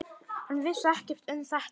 Hann vissi ekkert um þetta.